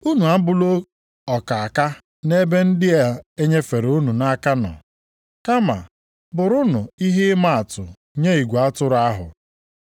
Unu abụla ọkaaka nʼebe ndị e nyefere unu nʼaka nọ. Kama bụrụnụ ihe ịma atụ nye igwe atụrụ ahụ.